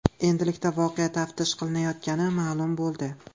Endilikda voqea taftish qilinayotgani ma’lum bo‘ldi.